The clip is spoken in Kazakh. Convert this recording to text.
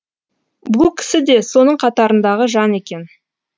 бұл кісі де соның қатарындағы жан екен